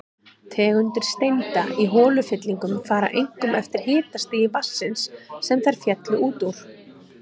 Tegundir steinda í holufyllingum fara einkum eftir hitastigi vatnsins, sem þær féllu út úr.